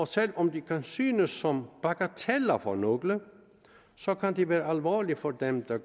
selv om de kan synes som bagateller for nogle så kan de være alvorlige for dem det